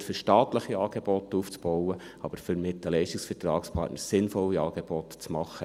nicht, um staatliche Angebote aufzubauen, aber um mit den Leistungsvertragspartnern weiterhin sinnvolle Angebote zu machen.